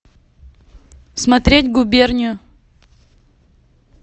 смотреть губернию